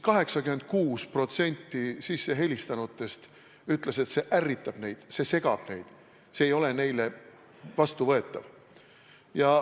86% sissehelistanutest ütlesid, et see ärritab neid, see segab neid, see ei ole neile vastuvõetav.